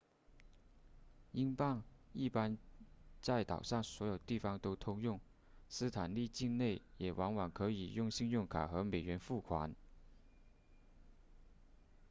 英镑一般在岛上所有地方都通用斯坦利境内也往往可以用信用卡和美元付款